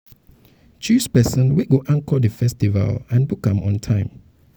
choose persin wey go anchor di festival and book am on time